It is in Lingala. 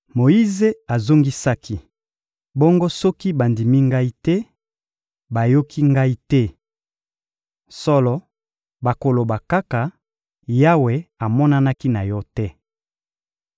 Moyize azongisaki: — Bongo soki bandimi ngai te, bayoki ngai te? Solo, bakoloba kaka: «Yawe amonanaki na yo te.»